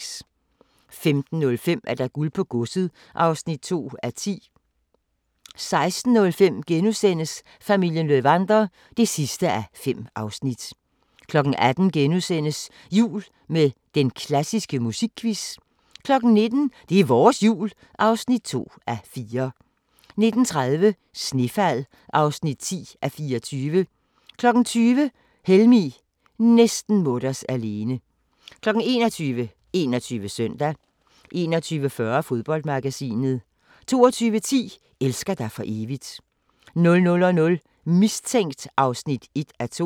15:05: Guld på godset (7:10) 16:05: Familien Löwander (5:5)* 18:00: Jul med den klassiske musikquiz * 19:00: Det er vores Jul (2:4) 19:30: Snefald (10:24) 20:00: Helmig – næsten mutters alene 21:00: 21 Søndag 21:40: Fodboldmagasinet 22:10: Elsker dig for evigt 00:00: Mistænkt (1:2)